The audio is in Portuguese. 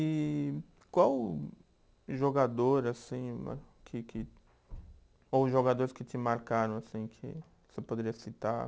E qual jogador, assim né que que, ou jogadores que te marcaram, assim, que você poderia citar?